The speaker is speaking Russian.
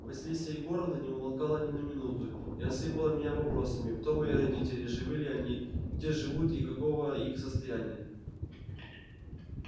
василиса егоровна не умолкала ни на минуту и осыпала меня вопросами кто мои родители живы ли они где живут и каково их состояние